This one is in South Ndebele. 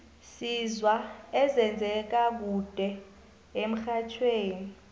sizwa ezenze ka kude emxhajhewi